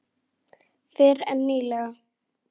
Fyrr en nýlega.